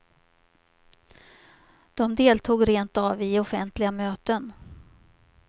De deltog rentav i offentliga möten.